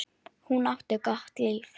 Hún átti gott líf.